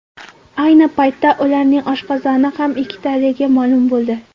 Ayni paytda ularning oshqozoni ham ikkitaligi ma’lum bo‘ldi.